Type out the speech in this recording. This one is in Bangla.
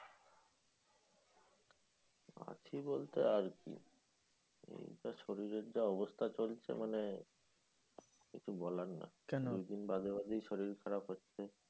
আছি বলতে আর কি। এই যা শরীরের যা অবস্থা চলছে মানে, কিছু বলার নেই। দুই দিন বাদে বাদে শরীর খারাপ হচ্ছে।